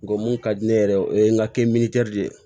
Ngo mun ka di ne yɛrɛ o ye n ka de ye